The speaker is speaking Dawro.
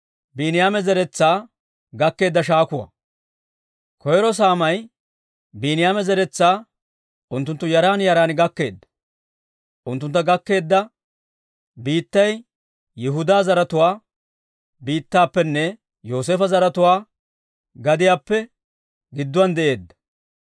Koyro saamay Biiniyaama zeretsaa unttunttu yaran yaran gakkeedda. Unttuntta gakkeedda biittay Yihudaa zaratuwaa biittaappenne Yooseefo zaratuwaa gadiyaappe gidduwaan de'eedda.